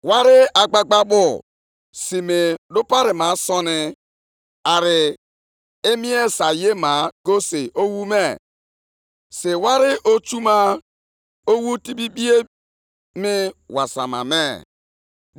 Ọ bụladị nkume ahụ e ji wuo mgbidi ga-eti mkpu megide gị. Osisi e ji doo elu ụlọ ga-etikwa mkpu akwa za nkume ndị ahụ.